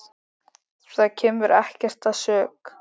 Það kemur ekkert að sök.